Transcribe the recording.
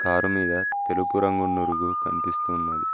Car మీద తెలుపు రంగు నురుగు కనిపిస్తు ఉన్నది.